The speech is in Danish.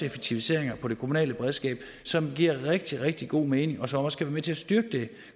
effektiviseringer på det kommunale beredskab som giver rigtig rigtig god mening og som også med til at styrke det